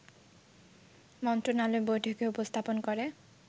মন্ত্রণালয় বৈঠকে উপস্থাপন করে